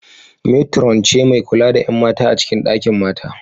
Metron ce mai kula da ƴan mata a cikin dakin mata